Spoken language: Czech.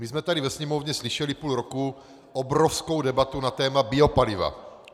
My jsme tady ve Sněmovně slyšeli půl roku obrovskou debatu na téma biopaliva.